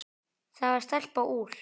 Það var stelpa úr